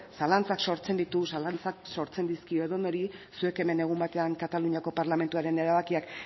zalantzak sortzen ditu zalantzak sortzen dizkio edonori zuek hemen egun batean kataluniako parlamentuaren erabakiak